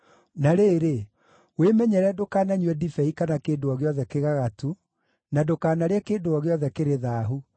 Na rĩrĩ, wĩmenyerere ndũkananyue ndibei kana kĩndũ o gĩothe kĩgagatu, na ndũkanarĩe kĩndũ o gĩothe kĩrĩ thaahu,